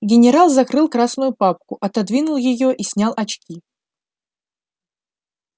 генерал закрыл красную папку отодвинул её и снял очки